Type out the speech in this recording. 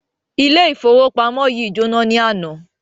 Ilé ifowopamọ yìí jona ní àna.